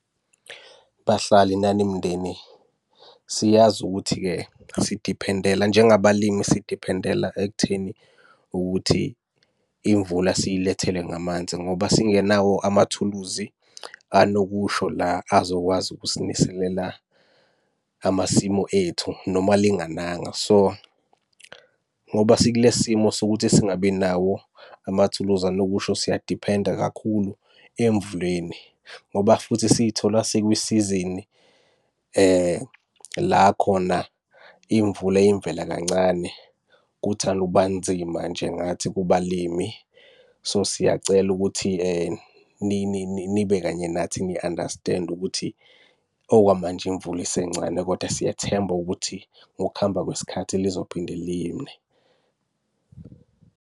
Bahlali nani mndeni, siyazi ukuthi-ke sidiphendela, njengabalimi sidiphendela ekutheni ukuthi imvula siyilethele ngamanzi ngoba singenawo amathuluzi anokusho la azokwazi ukusiniselela amasimu ethu noma lingananga. So, ngoba sikule simo sokuthi singabi nawo amathuluzi anokusho siyadiphenda kakhulu emvuleni, ngoba futhi siy'thola sikwisizini la khona imvula iyimvela kancane. Kuthanda ukuba nzima nje ngathi kubalimi. So, siyacela ukuthi nibe kanye nathi ni-understand-e ukuthi okwamanje imvula isencane kodwa siyathemba ukuthi ngokuhamba kwesikhathi lizophinde line.